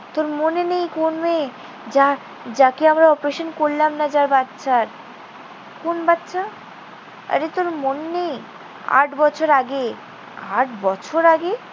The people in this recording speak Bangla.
তোর মনে নেই কোন মেয়ে? যার~ যাকে আমরা operation করলাম না যার বাচ্চার। কোন বাচ্চা? আরে তোর মনে নেই? আট বছর আগে। আট বছর আগে?